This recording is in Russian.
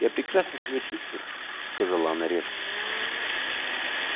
я прекрасно себя чувствую сказала она резко